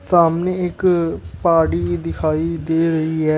सामने एक पहाड़ी दिखाई दे रही है।